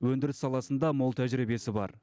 өндіріс саласында мол тәжіребиесі бар